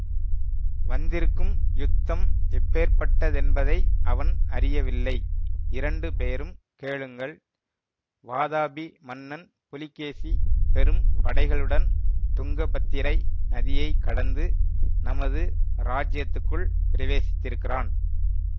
வந்திருக்கும் யுத்தம் எப்பேர்ப்பட்டதென்பதை அவன் அறியவில்லை இரண்டு பேரும் கேளுங்கள் வாதாபி மன்னன் புலிகேசி பெரும் படைகளுடன் துங்கபத்திரை நதியைக் கடந்து நமது ராஜ்யத்துக்குள் பிரவேசித்திருக்கிறான்